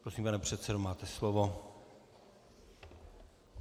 Prosím, pane předsedo, máte slovo.